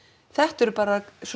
þetta eru bara svo